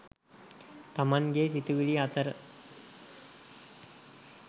තමන්ගේ සිතිවිලි අතර